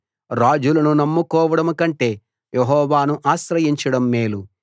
రాజులను నమ్ముకోవడం కంటే యెహోవాను ఆశ్రయించడం మేలు